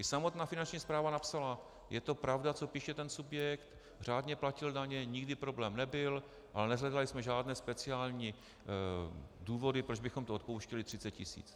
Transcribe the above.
I samotná Finanční správa napsala, je to pravda, co píše ten subjekt, řádně platil daně, nikdy problém nebyl, ale neshledali jsme žádné speciální důvody, proč bychom tu odpouštěli 30 tisíc.